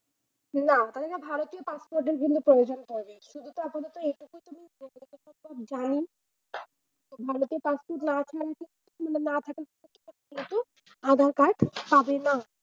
না মানে না ভারতী passport প্রয়োজন পড়ে না। শুধু তা আপাতত এটুকু ভারোতে passport না থাকলে মানে না থাকলে কিন্তু আধার-কার্ড পাবে না।